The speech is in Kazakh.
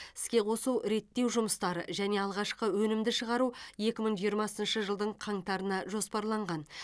іске қосу реттеу жұмыстары және алғашқы өнімді шығару екі мың жиырмасыншы жылдың қаңтарына жоспарланған